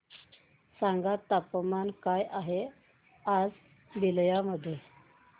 सांगा तापमान काय आहे आज बलिया मध्ये